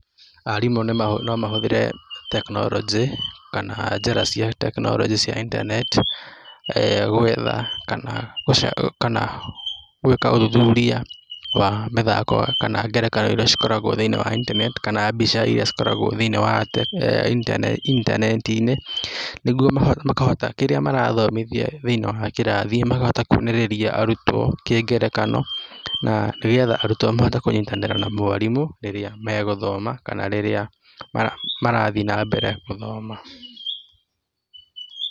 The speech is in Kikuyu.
Arimũ no mahũthĩre tekinoronjĩ kana njĩra cia tekinoronjĩ cia intaneti eeh gwetha kana gũca kana gwĩka ũthuthuria wa mĩthako kana ngerekano iria cikoragwo thĩiniĩ wa intaneti kana mbica iria ikoragwo thĩiniĩ wa eeh inta intaneti-inĩ nĩguo makahota, kĩrĩa marathomithia thĩiniĩ wa kĩrathi makahota kwonereria arutwo kĩngerekano na nĩgetha arutwo mahote kũnyitanĩra na mwarimũ rĩrĩa megũthoma kana rĩrĩa marathiĩ na mbere gũthoma.